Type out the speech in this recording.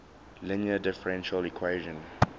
linear differential equation